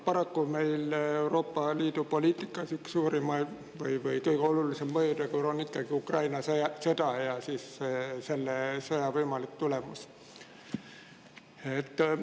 Paraku on meil Euroopa Liidu poliitikas üks suurimaid või kõige olulisem mõjutegur ikkagi Ukraina sõda ja selle võimalik tulemus.